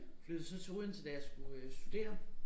Flyttede så til Odense da jeg skulle øh studere